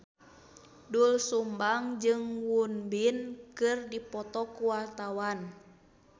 Doel Sumbang jeung Won Bin keur dipoto ku wartawan